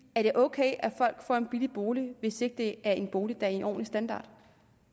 er det ok at folk får en billig bolig hvis ikke det er en bolig der en ordentlig standard